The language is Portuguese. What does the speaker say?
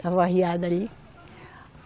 Estava arriado ali.